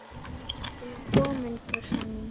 Ertu nú komin, brussan mín?